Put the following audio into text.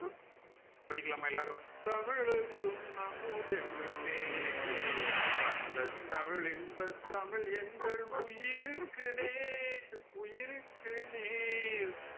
படிக்கலாமா எல்லாரும் தமிழுக்கும் அமுதென்று பேர் அந்த தமிழின் இன்பத் தமிழ் எங்கள் உயிருக்கு நேர் உயிருக்கு நேர்